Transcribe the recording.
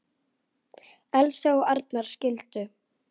Elsa og Arnar skildu.